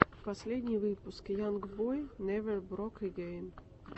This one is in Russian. последний выпуск янг бой невер брок эгейн